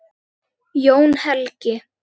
Jón Helgi.